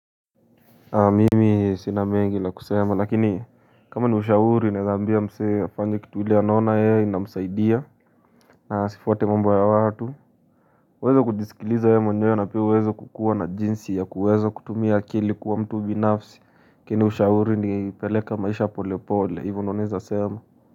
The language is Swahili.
Mimi sina mengi la kusema lakini kama ni ushauri naeza ambia msee afanye kitu ile anaona ye inamsaidia na asifwate mambo ya watu uweze kujisikiliza we mwenyewe na pia uweze kukuwa na jinsi ya kuweza kutumia akili kuwa mtu binafsi lakini ushauri ni peleka maisha pole pole ivyo ndo naeza sema.